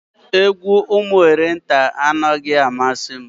Egwu Ụmụnne Orenta anaghị amasị m.